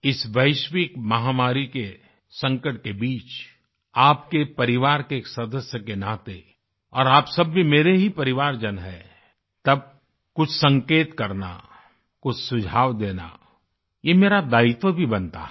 इस वैश्विकमहामारी के संकट के बीच आपके परिवार के एक सदस्य के नाते और आप सब भी मेरे ही परिवारजन हैं तब कुछ संकेत करनाकुछ सुझाव देना यह मेरा दायित्व भी बनता है